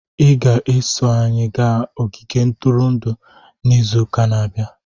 Ị ga-eso anyị gaa ogige ntụrụndụ n'izu na-abịa.